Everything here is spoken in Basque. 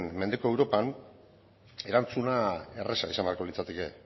mendeko europan erantzuna erreza izan beharko litzateke